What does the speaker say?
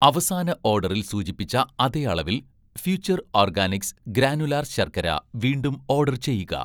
അവസാന ഓഡറിൽ സൂചിപ്പിച്ച അതേ അളവിൽ 'ഫ്യൂച്ചർ ഓർഗാനിക്സ്' ഗ്രാനുലാർ ശർക്കര വീണ്ടും ഓഡർ ചെയ്യുക